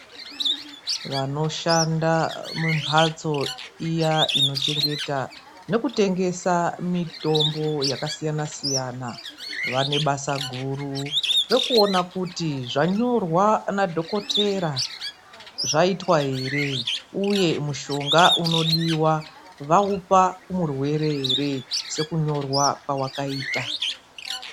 Vanoshanda mumbatso iya inochengeta nokutengesa mitombo yakasiyana-siyana, vane basa guru rekuona kuti zvanyorwa nadhokotera zvaitwa here? Uye mushonga unodiwa vaupa murwere ere ?Sekunyorwa kwawakaita.